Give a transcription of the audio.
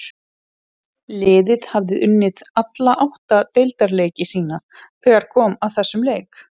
Liðið hafði unnið alla átta deildarleiki sína þegar kom að þessum leik.